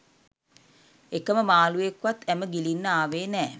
එකම මාළුවෙක් වත් ඇම ගිලින්න ආවේ නෑ.